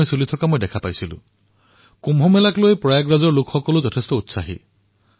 প্ৰয়াগৰাজৰ জনতাও কুম্ভক লৈ অতি উৎসাহী হৈ পৰিছে